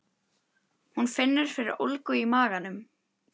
Hún finnur fyrir ólgu í maganum.